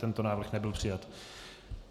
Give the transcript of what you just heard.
Tento návrh nebyl přijat.